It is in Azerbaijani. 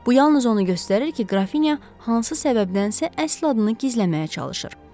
Bu yalnız onu göstərir ki, Qrafinya hansı səbəbdənsə əsl adını gizlətməyə çalışır.